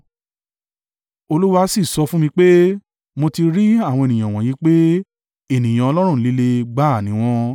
Olúwa sì sọ fún mi pé, “Mo ti rí àwọn ènìyàn wọ̀nyí pé ènìyàn ọlọ́rùn líle gbá à ni wọ́n.